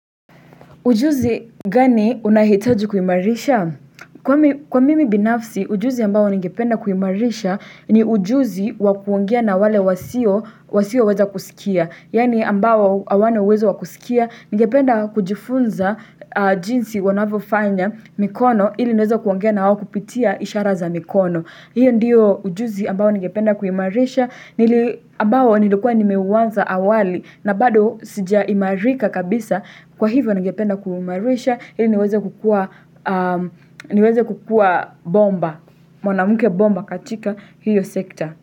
Ujuzi gani unahitaji kuimarisha? Kwa mimi binafsi, ujuzi ambao ningependa kuimarisha ni ujuzi wa kuongea na wale wasioweza kusikia. Yaani ambao hawana uwezo wa kusikia, ningependa kujifunza jinsi wanavyofanya mikono ili niweze kuongea na wao kupitia ishara za mikono. Huyo ndio ujuzi ambao ningependa kuimarisha, ambao nilikuwa nimeuanza awali na bado sijaimarika kabisa kwa hivyo ningependa kuumarisha, ili niweze kukuwa bomba, mwanamke bomba katika hiyo sekta.